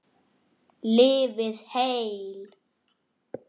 Lifið heil!